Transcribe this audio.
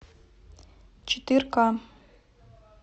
четырка